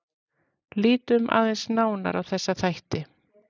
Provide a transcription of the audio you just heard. Lítum aðeins nánar á þessa þætti.